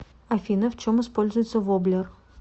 афина в чем используется воблер